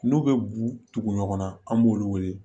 N'u bɛ bugu tugu ɲɔgɔn na an b'olu wele